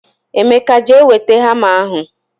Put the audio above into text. emeka jee weta hama ahu